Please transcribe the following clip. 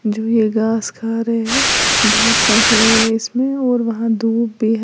घास खा रहे हैं बहोत है इसमें और वहां धूप भी है।